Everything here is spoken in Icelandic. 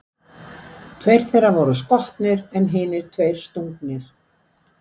Tveir þeirra voru skotnir en hinir tveir stungnir.